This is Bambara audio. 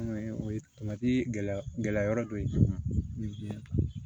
o ye gɛlɛya gɛlɛya yɔrɔ dɔ ye bi